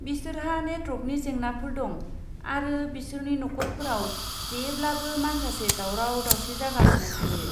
बिसोरहा नेटवर्कनि जेंनाफोर दं, आरो बिसोरनि नखरफोराव जेब्लाबो माखासे दावराव दावसि जागासिनो थायो।